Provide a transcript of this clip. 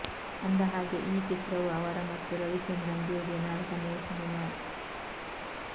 ಅಂದ ಹಾಗೆ ಈ ಚಿತ್ರವು ಅವರ ಮತ್ತು ರವಿಚಂದ್ರನ್ ಜೋಡಿಯ ನಾಲ್ಕನೆಯ ಸಿನಿಮಾ